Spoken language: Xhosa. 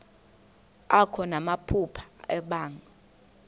akho namaphupha abanga